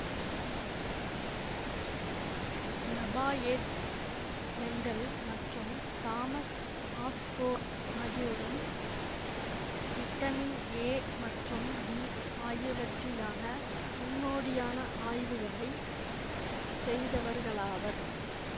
Lafayette Mendel மற்றும் Thomas Osborne ஆகியோரும் vitamin A மற்றும் பி ஆகியவற்றிலான முன்னோடியான ஆய்வுகளை செய்தவர்களாவர்